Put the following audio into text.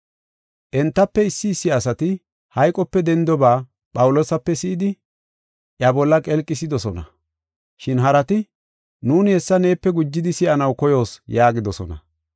Entafe issi issi asati hayqope dendoba Phawuloosape si7idi, iya bolla qelqisidosona. Shin harati, “Nuuni hessa neepe gujidi si7anaw koyoos” yaagidosona.